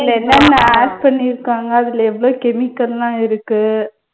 அதுல என்னென்ன add பண்ணியிருக்காங்க, அதுல எவ்ளோ chemical எல்லாம் இருக்கு